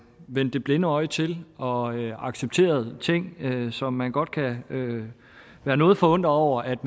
vendt det blinde øje til og accepteret ting som man godt kan være noget forundret over at